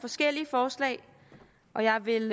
forskellige forslag og jeg vil